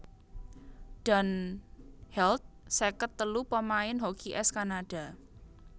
Dan Held seket telu pamain hoki ès Kanada